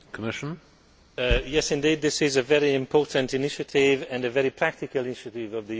Yes indeed, this is a very important initiative and a very practical initiative of the European Commission.